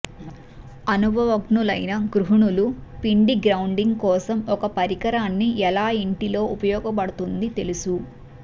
అనుభవజ్ఞులైన గృహిణులు పిండి గ్రౌండింగ్ కోసం ఒక పరికరాన్ని ఎలా ఇంటిలో ఉపయోగపడుతుంది తెలుసు